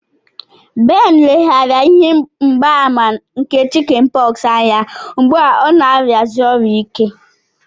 Ben leghaara ihe mgbaàmà nke Chicken pox anya, ugbu a ọ na-arịasi ọrịa ike.